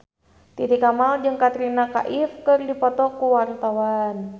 Titi Kamal jeung Katrina Kaif keur dipoto ku wartawan